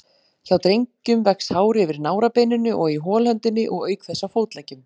Hjá drengjum vex hár yfir nárabeininu og í holhöndinni og auk þess á fótleggjum.